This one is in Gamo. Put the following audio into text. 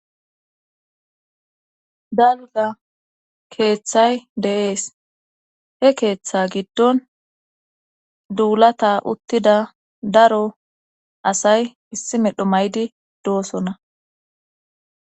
daluza keeththay de7ees he keeththa giddon duulata uttida daro asay issi medho maydi doosona